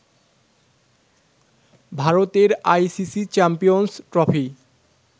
ভারতের ICC champions trophy